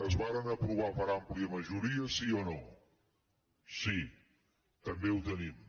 es varen aprovar per àmplia majoria sí o no sí també ho tenim